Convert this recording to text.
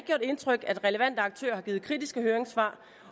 indtryk at relevante aktører har givet kritiske høringssvar